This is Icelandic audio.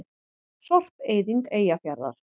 Sorpeyðing Eyjafjarðar.